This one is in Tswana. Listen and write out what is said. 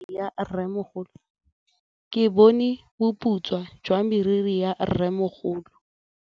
Ke bone boputswa jwa meriri ya rrêmogolo.